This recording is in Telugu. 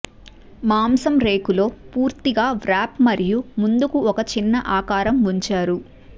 మాంసం రేకు లో పూర్తిగా వ్రాప్ మరియు ముందుకు ఒక చిన్న ఆకారం ఉంచారు